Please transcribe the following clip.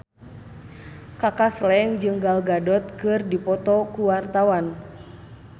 Kaka Slank jeung Gal Gadot keur dipoto ku wartawan